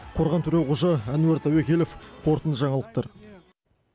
қорған төреқожа әнуар тәуекелов қорытынды жаңалықтар